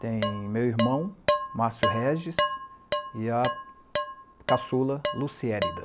Tem meu irmão, Márcio Regis, e a caçula Luciérida.